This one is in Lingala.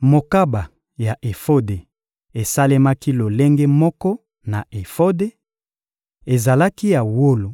Mokaba ya efode esalemaki lolenge moko na efode: ezalaki ya wolo,